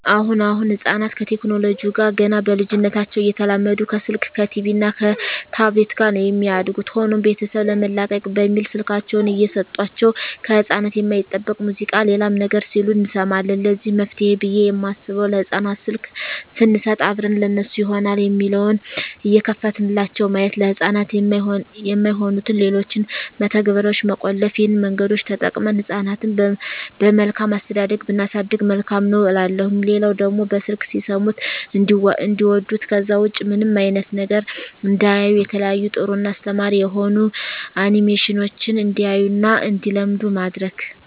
አሁን አሁን ህጻናት ከቴክኖለጂው ጋር ገና በልጂነታቸው እየተላመዱ ከስልክ ከቲቪ እና ከታብሌት ጋር ነው የሚያድጉት። ሆኖም ቤተሰብ ለመላቀቅ በሚል ስልካቸውን እየሰጦቸው ከህጻናት የማይጠበቅ ሙዚቃ ሌላም ነገር ሲሉ እንሰማለን ለዚህ መፍትሄ ብየ የማስበው ለህጻናት ስልክ ሰንሰጥ አብረን ለነሱ ይሆናል የሚለውን እየከፈትንላቸው ማየት፤ ለህጻናት የማይሆኑትን ሌሎችን መተግበርያዋች መቆለፍ ይህን መንገዶች ተጠቅመን ህጻናትን በመልካም አስተዳደግ ብናሳድግ መልካም ነው እላለሁ። ሌላው ደግሞ በስልክ ሲሰሙት እንዲዋዱት ከዛ ውጭ ምንም አይነት ነገር እንዳያዩ የተለያዩ ጥሩ እና አስተማሪ የሆኑ አኒሜሽኖችን እንዲያዩ እና እንዲለምዱ ማድረግ።